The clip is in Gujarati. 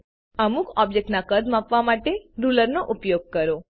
અમુક ઓબ્જેક્ટના કદ માપવા માટે રૂલરનો ઉપયોગ કરો